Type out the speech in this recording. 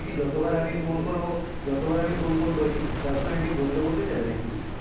যত বার আমি ফোন করবো যত বার আমি ফোন করবো তোর কি personality বদলে বদলে যাবে নাকি?